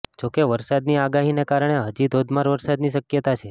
જો કે વરસાદની આગાહીને કારણે હજી ધોધમાર વરસાદની શક્યતા છે